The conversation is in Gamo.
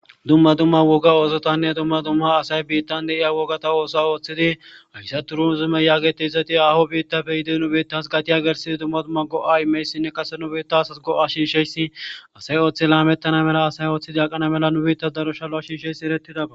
Dumma dumma woga oosotanne dumma dumma asay biittan diya oosota ooththidi hayssa turuzime yaagetyayssati haaho biittappe nu biitta yiidi nu biitta qasse dumma dumma go'a immiyayssinne kase nu asas go'a shiishshiyays asay ooththi laametana mala asay ooththi aqana mala nu biittan daro ishalo shiishshidayssi eretidako.